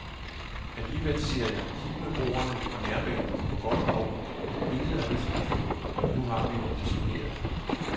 Alligevel siger jeg hit med broerne og nærbanen på godt og ondt, intet er risikofrit, og nu har vi jo disponeret.